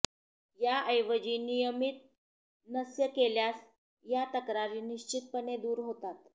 याऐवजी नियमित नस्य केल्यास या तक्रारी निश्चितपणे दूर होतात